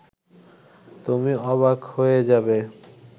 তুমি অবাক হয়ে যাবে